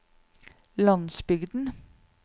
landsbygden